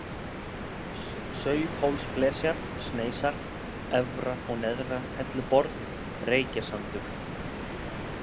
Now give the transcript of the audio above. Sauðhólsflesjar, Sneisar, Efra- og Neðra-Helluborð, Reykjasandur